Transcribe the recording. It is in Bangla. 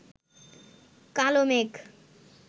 কালো মেঘ